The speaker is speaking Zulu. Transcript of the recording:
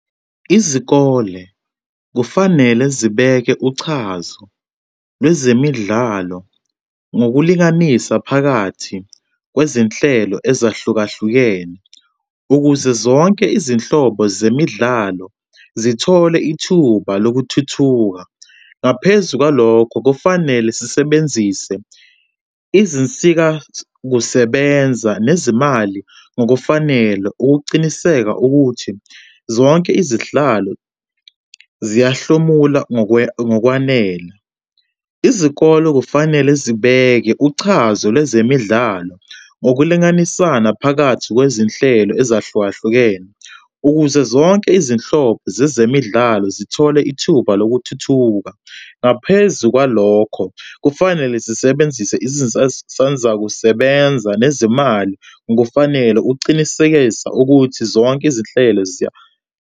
Izikole kufanele zibeke uchazo lwezemidlalo ngokulinganisa phakathi kwezinhlelo ezahlukahlukene ukuze zonke izinhlobo zemidlalo zithole ithuba lokuthuthuka. Ngaphezu kwalokho, kufanele sisebenzise izinsikakusebenza nezimali ngokufanele ukuqiniseka ukuthi zonke izihlalo ziyahlomula ngokwanele. Izikolo kufanele zibeke uchazo lwezemidlalo ngokulinganisana phakathi kwezinhlelo ezahlukahlukene ukuze zonke izinhlobo zezemidlalo zithole ithuba lokuthuthuka. Ngaphezu kwalokho kufanele zisebenzise izinsansazakusebenza nezimali kufanele ucinisekisa ukuthi zonke izinhlelo .